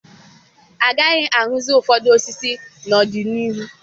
Agaghị ahụzi ụfọdụ osisi n'ọdịnihu.